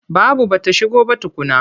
Babu ba ta shigo ba tukunna.